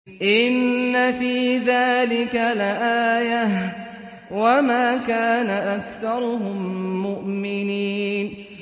إِنَّ فِي ذَٰلِكَ لَآيَةً ۖ وَمَا كَانَ أَكْثَرُهُم مُّؤْمِنِينَ